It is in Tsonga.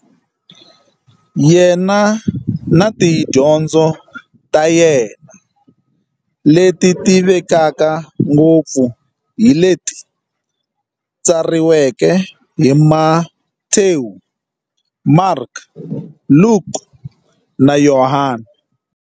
Yena na tidyondzo ta yena, leti tivekaka ngopfu hi leti tsariweke hi-Matewu, Mareka, Luka, na Yohani.